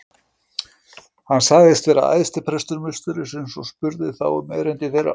Hann sagðist vera æðstiprestur musterisins og spurði þá um erindi þeirra.